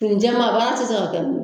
fini jɛman baara tɛ se ka kɛ n'o ye